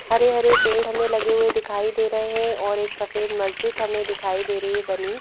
हरे-हरे पेड़ हमें लगे हुए दिखाई दे रहे हैं और एक सफेद मस्जिद हमें दिखाई दे रही है बनी।